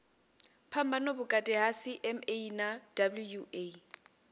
phambano vhukati ha cma na wua